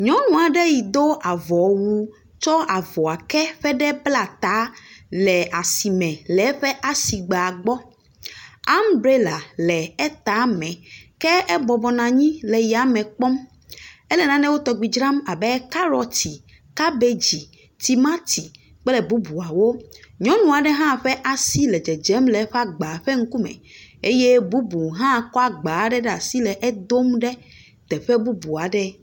Nyɔnua ɖe yi do avɔ wu, tsɔ avɔa ke ƒe ɖe bla ta le asime le eƒe asigba gbɔ. Ambrela le èta me. Ke ebɔbɔ nɔ anyi le ya me kpɔm. Èle nanewo tɔgbi dram abe karɔti, kabegi, tomati kple bubuawo. Nyɔnua ɖe hã ƒe asi le dzedzem le eƒe agba ƒe ŋku me eye bubu hã kɔa agba aɖe ɖe asi le edom ɖe teƒe bubu aɖe.